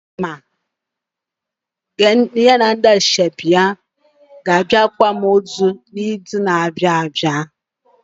Chima na ndị yiri ya ákwà ga abịa akwamozu na izu na abịa